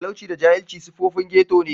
Talauci da jahilci siffofin ghetto ne.